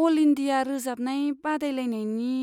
अल India रोजाबनाय बादायलायनायनि